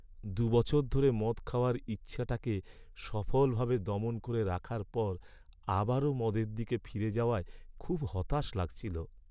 দু' বছর ধরে মদ খাওয়ার ইচ্ছাটাকে সফলভাবে দমন করে রাখার পর আবারও মদের দিকে ফিরে যাওয়ায় খুব হতাশ লাগছিল।